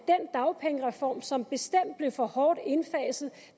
dagpengereform som bestemt blev for hårdt indfaset